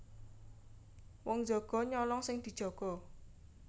Wong jaga nyolong sing dijaga